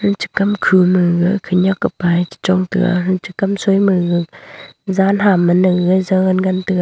ucha kam khu maga khenyak kapae chichong taiga anchi kam soi maga zan ha managa zangan ngan tega.